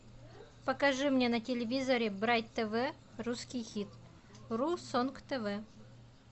покажи мне на телевизоре брайт тв русский хит ру сонг тв